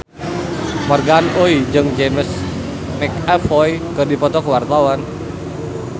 Morgan Oey jeung James McAvoy keur dipoto ku wartawan